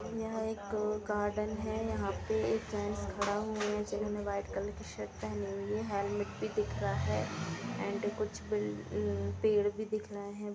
यह एक गार्डन है यँहा पे एक जेंट्स खड़ा हुए हैं जिन्होनें वाइट कलर की शर्ट पहनी हुई है हेलमेट भी दिख रहा है एंड कुछ बिल अ पेड़ भी दिख रहे हैं |